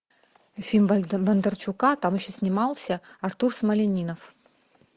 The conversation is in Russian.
фильм бондарчука там еще снимался артур смольянинов